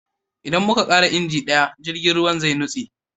Idan muka kara injin daya, jirgin ruwa zai nutse